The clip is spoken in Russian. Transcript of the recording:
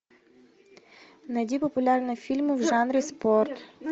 найди популярные фильмы в жанре спорт